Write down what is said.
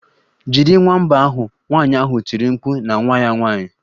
Jide nwamba ahụ!nwanyị ahụ tiri mkpu na nwa ya nwanyị.